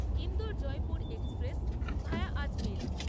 Indore Jaipur express via Ajmer